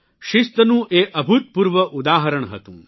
શિસ્તનું એ અભૂતપૂર્વ ઉદાહરણ હતું